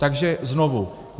Takže znovu.